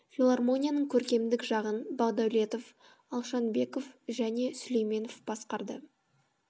филармонияның көркемдік жағын а бағдәулетов т а алшанбеков және ғ сүлейменов басқарды